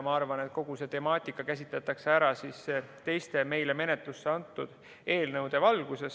Ma arvan, et kogu seda temaatikat käsitletakse teiste meile menetlusse antud eelnõudega seoses.